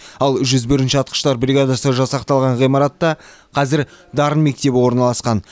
ал жүз бірінші атқыштар бригадасы жасақталған ғимаратта қазір дарын мектебі орналасқан